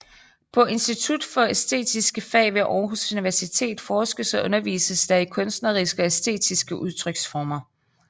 På Institut for Æstetiske Fag ved Aarhus Universitet forskes og undervises der i kunstneriske og æstetiske udtryksformer